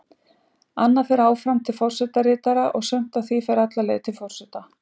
Annað fer áfram til forsetaritara og sumt af því fer alla leið til forseta.